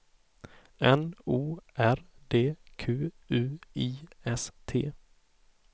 N O R D Q U I S T